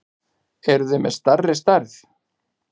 Eruð þið með stærri stærð?